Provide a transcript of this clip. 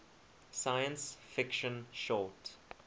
science fiction short